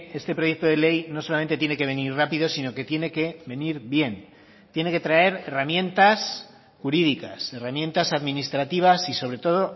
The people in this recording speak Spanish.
este proyecto de ley no solamente tiene que venir rápido sino que tiene que venir bien tiene que traer herramientas jurídicas herramientas administrativas y sobre todo